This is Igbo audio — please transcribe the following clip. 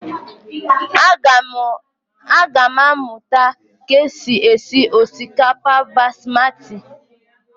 Agam aga muta ka e si esi osikapa basmati.